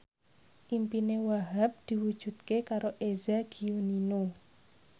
impine Wahhab diwujudke karo Eza Gionino